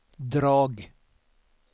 drag